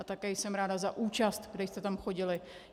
A také jsem ráda za účast, kdo jste tam chodili.